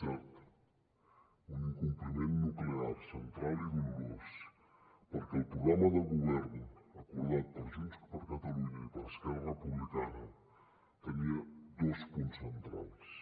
cert un incompliment nuclear central i dolorós perquè el programa de govern acordat per junts per catalunya i per esquerra republicana tenia dos punts centrals